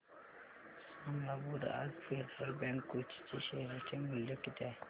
सांगा बरं आज फेडरल बँक कोची चे शेअर चे मूल्य किती आहे